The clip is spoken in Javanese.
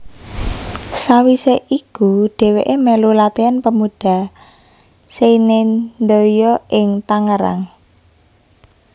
Sawise iku dheweke melu Latihan Pemuda Seinendoyo ing Tangerang